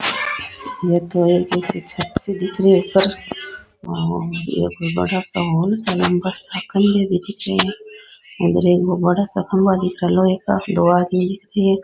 यह तो एक छत से दिख रही है ऊपर और यह कोई बड़ा सा हॉल सा --